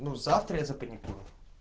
ну завтра я запаникую